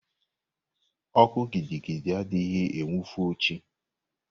Oku gidigidi adịghị enwufo chi.